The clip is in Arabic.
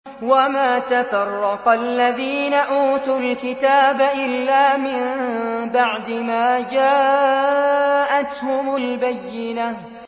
وَمَا تَفَرَّقَ الَّذِينَ أُوتُوا الْكِتَابَ إِلَّا مِن بَعْدِ مَا جَاءَتْهُمُ الْبَيِّنَةُ